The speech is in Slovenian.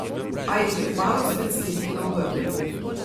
A jih je kmalu spet stisnilo v grlu.